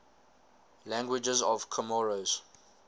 languages of comoros